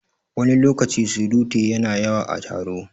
Wani lokacin surutu yana yawa a taro